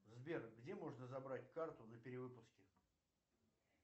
сбер где можно забрать карту на перевыпуске